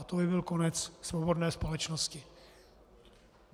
A to by byl konec svobodné společnosti.